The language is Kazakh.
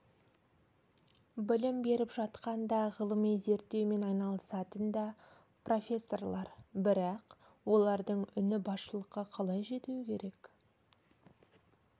білім беріп жатқан да ғылыми зерттеумен айналысатын да профессорлар бірақ олардың үні басшылыққа қалай жетуі керек